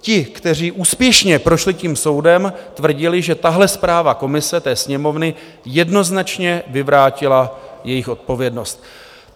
Ti, kteří úspěšně prošli tím soudem, tvrdili, že tahle zpráva komise té Sněmovny jednoznačně vyvrátila jejich odpovědnost.